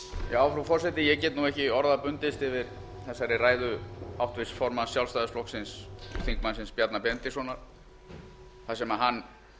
frú forseti ég get nú ekki orða bundist yfir þessari ræðu háttvirts formanns sjálfstæðisflokksins þingmannsins bjarna benediktssonar þar sem hann